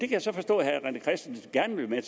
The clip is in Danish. kan så forstå at herre rené christensen gerne vil være